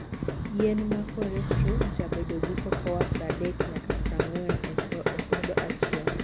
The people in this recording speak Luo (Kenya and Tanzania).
Yien ma forestro jabedo gi cocoa pradek nyaka prang'wen e opodo achiel.